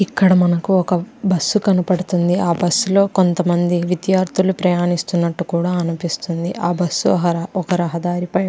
ఇక్కడ మనకి ఒక బస్ కనబడుతుంది ఆ బస్ లో కొంతమంది విద్యార్ధులు ప్రయాణిస్తునట్టు కూడా అనిపిస్తుంది ఆ బస్ ఒక రహదారి పై --